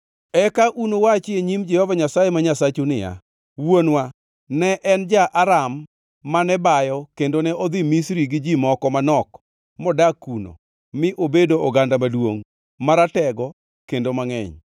Eka unuwachi e nyim Jehova Nyasaye ma Nyasachu niya, “Wuonwa ne en ja-Aram mane bayo kendo ne odhi Misri gi ji moko manok modak kuno mi obedo oganda maduongʼ, maratego kendo mangʼeny.